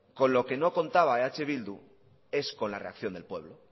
con lo que no contaba eh bildu es con la reacción del pueblo